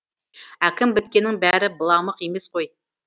әкім біткеннің бәрі быламық емес қой